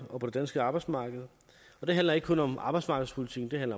på på det danske arbejdsmarked og det handler ikke kun om arbejdsmarkedspolitikken men